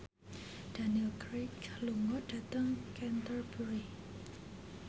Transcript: Daniel Craig lunga dhateng Canterbury